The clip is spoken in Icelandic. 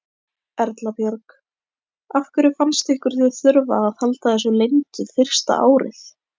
Erla Björg: Af hverju fannst ykkur þið þurfa að halda þessu leyndu fyrsta árið?